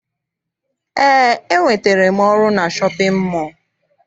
Eé, enwetere m ọrụ na shọpịn mọọ.